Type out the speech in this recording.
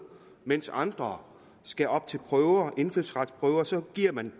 mens andre skal op til indfødsretsprøver så giver man